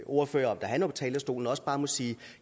ordfører om da han var på talerstolen også bare må sige at